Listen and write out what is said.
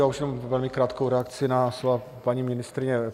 Já už jenom velmi krátkou reakci na slova paní ministryně.